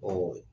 Ɔ